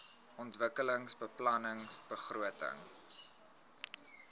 ontwikkelingsbeplanningbegrotings